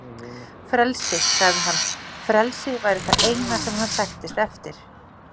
Frelsi, sagði hann, frelsi væri það eina sem hann sæktist eftir.